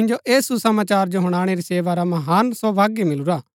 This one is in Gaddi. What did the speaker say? मिन्जो ऐह सुसमाचार जो हुनाणै री सेवा रा महान सौभाग्य मिलुरा हा